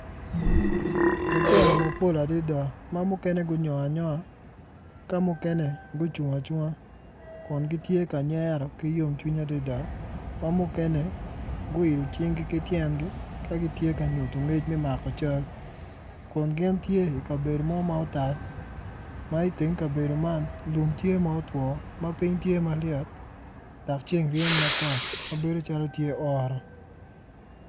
Lutino mapol adada ma mukene gunyogo anyonga ka mukene gucung acunga kun gitye ka nyero ki yomcwiny adada ki yomcwiny guilo cingi ki tyengi ka gitye ka nyuto ngec me mako cal kun gin tye i kabedo mo ma otal ma lum tye ma otwo ma piny tye ma lyet dok ceng reny matek mabedo calo tye oro.